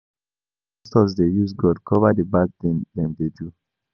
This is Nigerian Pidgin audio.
Some pastors dey use God cover the bad thing dem dey do